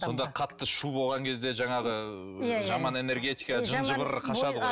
сонда қатты шу болған кезде жаңағы жаман энергетика жын жыбыр қашады ғой